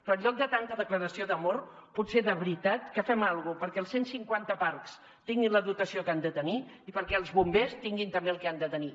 però en lloc de tanta declaració d’amor potser de veritat que fem alguna cosa perquè els cent cinquanta parcs tinguin la dotació que han de tenir i perquè els bombers tinguin també el que han de tenir